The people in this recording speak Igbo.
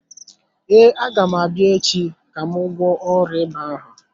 Ee, agam abịa echi ka m gwọọ ọrịa ịba ahụ.